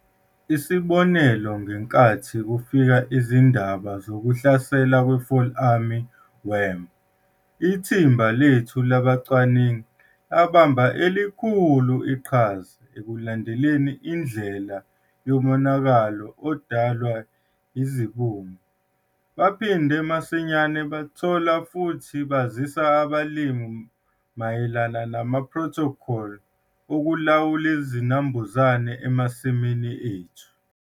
Isibonelo, ngenkathi kufika izindaba zokuhlasela kwe-Fall Army worm, ithimba lethu labacwaningi labambe elukhulu iqhaza ekulandeleleleni indlela yomonakalo odalwa yisibungu. Baphinda masinyane bathola futhi bazisa abalimi mayela namaphrothokholi ukulawula izinambuzane emasimini ethu.